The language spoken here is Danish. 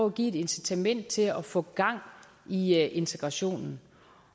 at give et incitament til at få gang i integrationen